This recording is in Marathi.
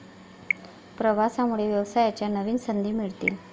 प्रवासामुळे व्यवसायाच्या नवीन संधी मिळतील.